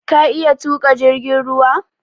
Ka iya tuƙa jirgin ruwa?